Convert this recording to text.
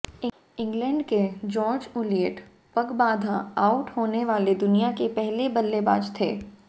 England के George Ulyett पगबाधा out होने वाले दुनिया के पहले बल्लेबाज थे